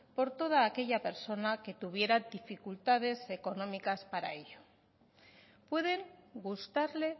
por toda aquella persona que tuviera dificultades económicas para ello pueden gustarle